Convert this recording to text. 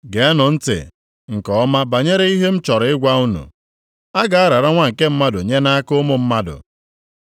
“Geenụ ntị nke ọma banyere ihe m chọrọ ịgwa unu. A ga-arara Nwa nke Mmadụ nye nʼaka ụmụ mmadụ.”